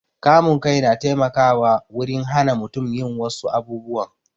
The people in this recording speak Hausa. Kamun kai na taimakawa wurin hana mutum yin wassu abubuwan